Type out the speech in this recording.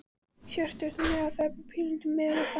Hjörtur: Þannig að þetta bara pínulítið miðað við það?